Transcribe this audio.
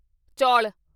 ਚੌਲ